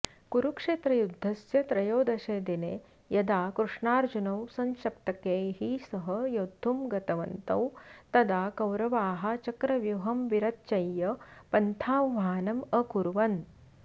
कुरुक्षेत्रयुद्धस्य त्रयोदशे दिने यदा कृष्णार्जुनौ संशप्तकैः सह योद्धुं गतवन्तौ तदा कौरवाः चक्रव्यूहं विरचय्य पन्थाह्वानमकुर्वन्